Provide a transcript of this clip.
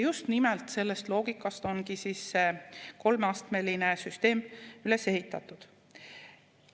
Just nimelt sellest loogikast ongi see kolmeastmeline süsteem üles ehitatud.